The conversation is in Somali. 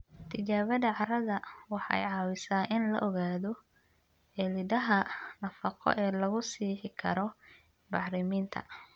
Tijaabada carrada waxay caawisaa in la ogaado cilladaha nafaqo ee lagu sixi karo bacriminta.